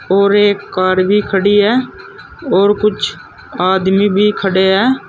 और एक कार भी खड़ी है और कुछ आदमी भी खड़े हैं।